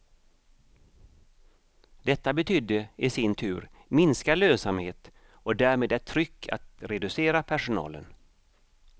Detta betydde i sin tur minskad lönsamhet och därmed ett tryck att reducera personalen.